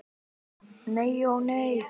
Nei ó nei.